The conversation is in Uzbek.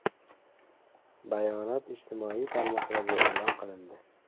Bayonot ijtimoiy tarmoqlarda e’lon qilindi .